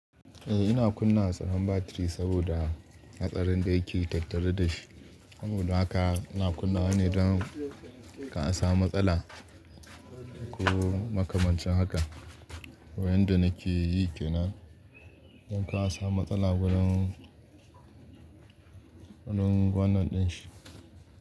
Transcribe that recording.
Eh, ina kunna tsaron batiri saboda hatsarin da yake tattare da shi. Saboda haka ina kunna ne don kar a samu matsala ko makamancin haka. Wai yanda nake yi kenan, don ka a samu matsala gurin. Wannan din shi.